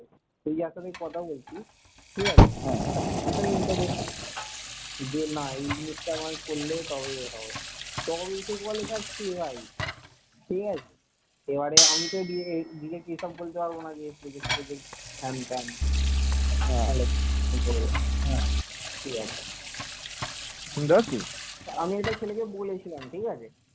আমি একটা ছেলেকে বলেছিলাম ঠিক আছে